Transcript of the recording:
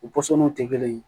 U pɔsɔninw tɛ kelen ye